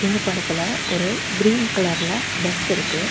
இந்தப் படத்துல ஒரு கிரீன் கலர்ல பஸ் இருக்கு.